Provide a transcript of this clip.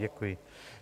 Děkuji.